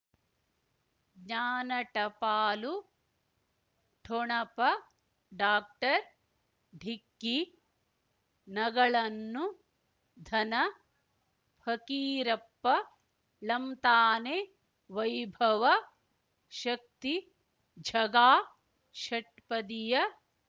ಜ್ಞಾನ ಟಪಾಲು ಠೊಣಪ ಡಾಕ್ಟರ್ ಢಿಕ್ಕಿ ಣಗಳನು ಧನ ಫಕೀರಪ್ಪ ಳಂತಾನೆ ವೈಭವ ಶಕ್ತಿ ಝಗಾ ಷಟ್ಪದಿಯ